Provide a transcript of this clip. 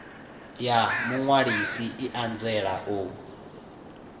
ya muṅwalisi i anzela u